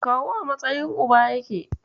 Kawu a matsayin Uba yake.